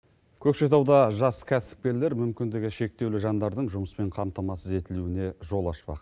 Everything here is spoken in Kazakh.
көкшетауда жас кәсіпкерлер мүмкіндігі шектеулі жандардың жұмыспен қамтамасыз етілуіне жол ашпақ